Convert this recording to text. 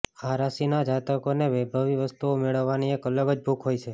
આ રાશિના જાતકોને વૈભવી વસ્તુઓ મેળવવાની એક અલગ જ ભૂખ હોય છે